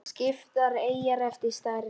Skiptar eyjar eftir stærð